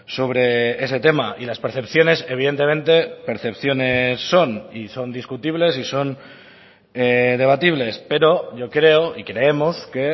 sobre ese tema y las percepciones evidentemente percepciones son y son discutibles y son debatibles pero yo creo y creemos que